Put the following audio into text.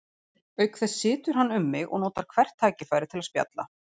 Auk þess situr hann um mig og notar hvert tækifæri til að spjalla.